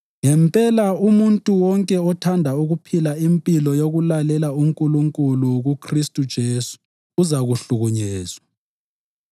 Ngempela umuntu wonke othanda ukuphila impilo yokulalela uNkulunkulu kuKhristu uJesu uzahlukuluzwa,